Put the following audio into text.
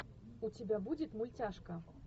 у тебя будет мультяшка